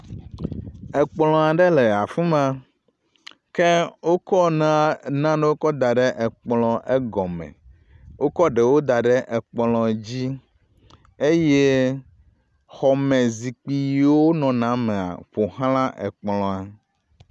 Ekplɔ aɖe le afi ma ke wokɔ na nanewo kɔ da ɖe ekplɔ egɔme. Wokɔ eɖewo da ɖe ekplɔ dzi eye xɔmezikui yiwo nɔna emea ƒoxla ekplɔ.